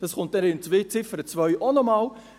» Das kommt dann in Ziffer 2 auch noch einmal.